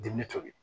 Diinɛ tobi